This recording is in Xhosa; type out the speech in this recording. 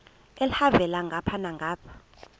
elhavela ngapha nangapha